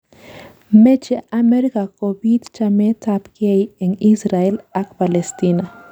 Meche Amerika kobiit chamet ab gei eng Israel ak Palestina